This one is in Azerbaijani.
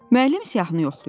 Müəllim siyahını yoxlayırdı.